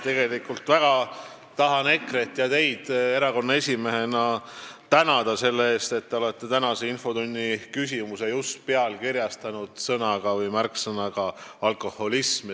Ma tahan väga tänada EKRE-t ja teid kui erakonna esimeest selle eest, et te olete tänase infotunni küsimuse pealkirjastanud just sõnaga "alkoholism".